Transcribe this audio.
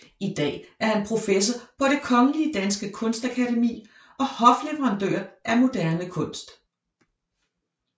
I dag er han professor på Det Kongelige Danske Kunstakademi og hofleverandør af moderne kunst